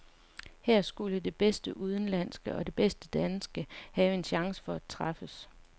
Her skulle det bedste udenlandske og det bedste danske have en chance for at træffes.